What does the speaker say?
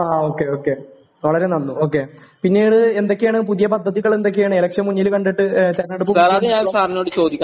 ങാ...ഓക്കേ, ഓക്കേ.വളരെ നന്ന്..പിന്നേട് എന്തൊക്കെയാണ്, പുതിയ പദ്ധതികൾ എന്തൊക്കെയാണ്? ഇലക്ഷൻ മുന്നിൽ കണ്ടിട്ട്, തെരഞ്ഞെടുപ്പ് മുന്നിൽ കണ്ടിട്ടുള്ള...